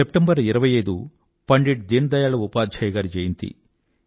September 25 Pandit Deen Dayal Upadhyay గారి జయంతి